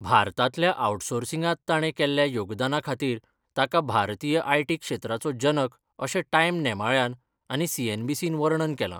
भारतांतल्या आउटसोर्सिंगांत ताणें केल्ल्या योगदाना खातीर ताका 'भारतीय आयटी क्षेत्राचो जनक' अशें टायम नेमाळ्यान आनी सीएनबीसीन वर्णन केलां.